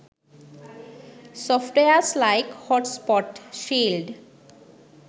softwares like hotspot shield